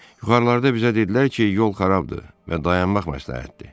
Yuxarılarda bizə dedilər ki, yol xarabdır və dayanmaq məsləhətdir.